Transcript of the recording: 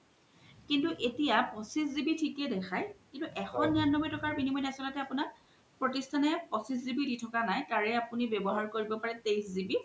কিন্তু এতিয়া পঁচিছ GB থিকে দেখাই কিন্তু এশ নিৰান্নবৈ টকাৰ আচল্তে আপুনাৰ প্ৰোতিশান পঁচিছ GB দি থকা নাই তাৰে আপুনি ৱ্যাবহাৰ কৰিব পৰে তেঁইশ GB